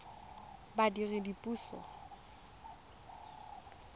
badiredipuso